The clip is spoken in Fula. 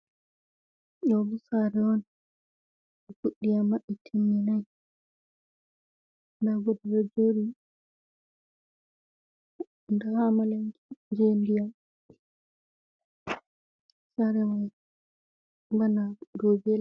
Ɗo bo sare on be fuɗi amma ɓe timminai nda goɗɗo ɗo joɗi, nda amalanke je ndiyam, sare man bana dou be les.